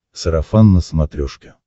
сарафан на смотрешке